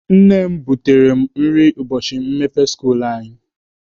Nne m butere mụ nri n'ubọchị mmepe skuulu anyị.